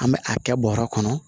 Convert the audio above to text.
An bɛ a kɛ bɔrɛ kɔnɔ